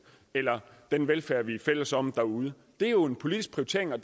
eller den velfærd vi er fælles om derude det er jo en politisk prioritering og